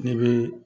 Ne bɛ